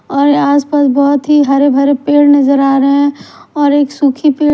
और आसपास बहोत ही हरे भरे पेड़ नजर आ रहे हैं और एक सुखी पेड़--